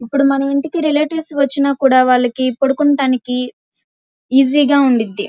ఇప్పుడు మన ఇంటికి రిలేటివ్స్ వచ్చినా కూడా పడుకుంటానికి ఈజీగా ఉంది.